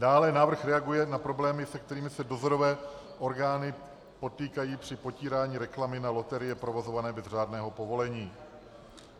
Dále návrh reaguje na problémy, se kterými se dozorové orgány potýkají při potírání reklamy na loterie provozované bez řádného povolení.